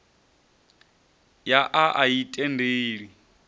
ya a a i tendeli